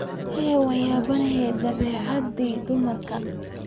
Hee! wanyabanhy dhabecadhi dumarka.